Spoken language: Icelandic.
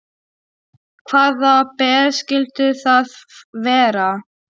Hvaða ber skyldu það vera?